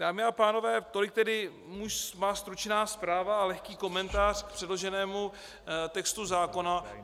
Dámy a pánové, tolik tedy má stručná zpráva a lehký komentář k předloženému textu zákona.